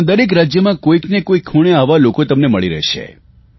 ભારતના દરેક રાજયમાં કોઇને કોઇ ખૂણે આવા લોકો તમને મળી રહેશે